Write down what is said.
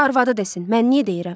Arvadı desin, mən niyə deyirəm?